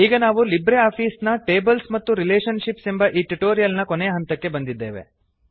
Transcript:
ಈಗ ನಾವು LibreOffice ನ ಟೇಬಲ್ಸ್ ಮತ್ತು ರಿಲೇಷನ್ ಶಿಪ್ಸ್ ಎಂಬ ಈ ಟ್ಯುಟೋರಿಯಲ್ ನ ಕೊನೆಯ ಹಂತಕ್ಕೆ ಬಂದಿದ್ದೇವೆ